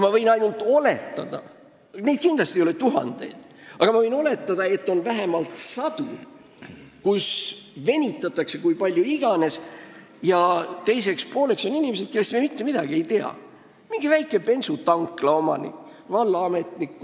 Neid asju ei ole kindlasti tuhandeid, aga ma oletan, et neid on vähemalt sadu, millega venitatakse kui palju iganes ja kus teiseks pooleks on inimesed, kellest me mitte midagi ei tea: mõni väikese bensutankla omanik või vallaametnik.